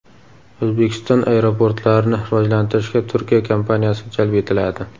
O‘zbekiston aeroportlarini rivojlantirishga Turkiya kompaniyasi jalb etiladi.